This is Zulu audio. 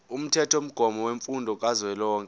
umthethomgomo wemfundo kazwelonke